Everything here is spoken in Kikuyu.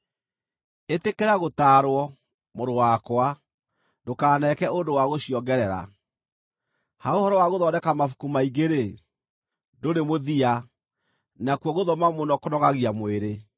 Ĩtĩkĩra gũtaarwo, mũrũ wakwa, ndũkaneeke ũndũ wa gũciongerera. Ha ũhoro wa gũthondeka mabuku maingĩ-rĩ, ndũrĩ mũthia, nakuo gũthoma mũno kũnogagia mwĩrĩ.